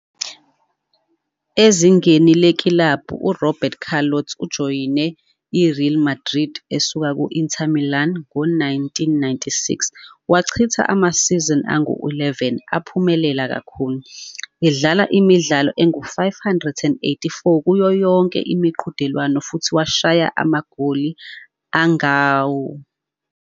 Ezingeni lekilabhu, uRoberto Carlos ujoyine iReal Madrid esuka ku -Inter Milan ngo-1996 wachitha amasizini angu-11 aphumelela kakhulu, edlala imidlalo engu-584 kuyo yonke imiqhudelwano futhi washaya amagoli angama-71.